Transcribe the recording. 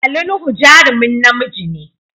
Ali Nuhu jarumin namiji ne.